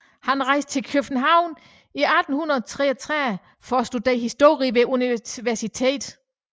Han rejste til København i 1833 for at studere historie ved universitetet der